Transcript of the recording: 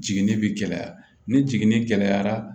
Jiginni bɛ gɛlɛya ni jiginni gɛlɛyara